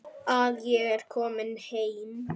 Að ég er komin heim.